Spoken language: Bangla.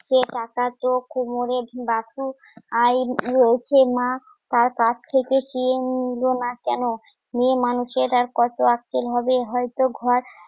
সেই টাকা তো কোমরে বাসু আইন রয়েছে মা তার কাছ থেকে চেয়ে নিল না কেন মেয়ে মানুষের আর কত আক্কেল হবে হয়তো ঘর